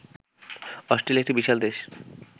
Australia একটি বিশাল দেশ